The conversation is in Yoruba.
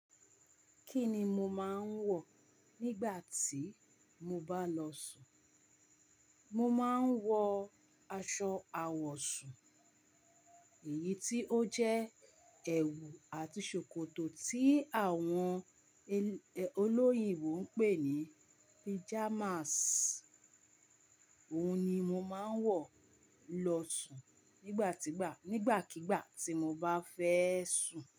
Kí ni mo máa ń wọ̀ nígbà tí mo bá lọ sùn? Mo máa ń wọ aṣọ àwọ̀sùn, èyí tí ó jẹ́ ẹ̀wù àti ṣòkòtò tí àwọn olóyinbo ń pè ní pajamas. Ohun ni mo máa ń wọ̀ lọ sùn nígbàkigbà tí mo bá fẹ́ sùn.